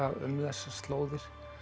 um þessar slóðir